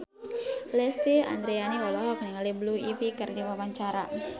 Lesti Andryani olohok ningali Blue Ivy keur diwawancara